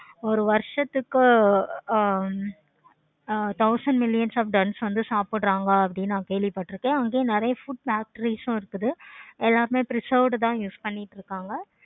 ஒரு வருசத்துக்கு ஆஹ் thousand millions of ton வந்து சாப்பிடுறாங்க அப்படி நான் கேள்வி பட்டுருக்கேன். நெறைய food factories இருக்குது. எல்லாருமே preserved தான் use பண்ணிக்கிட்டு இருக்காங்க.